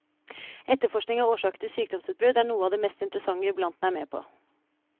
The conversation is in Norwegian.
Etterforskning av årsaker til sykdomsutbrudd er noe av det mest interessante jubilanten er med på.